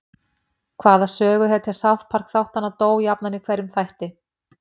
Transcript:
Hvaða söguhetja South Park þáttanna dó jafnan í hverjum þætti?